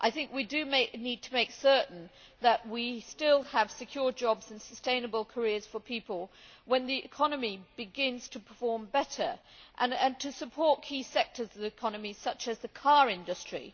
We need to make certain that we still have secure jobs and sustainable careers for people when the economy begins to perform better and support key sectors such as the car industry.